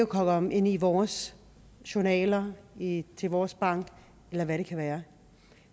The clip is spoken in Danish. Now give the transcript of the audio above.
komme ind i vores journaler i vores bank eller hvad det kan være